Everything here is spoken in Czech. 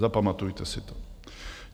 Zapamatujte si to.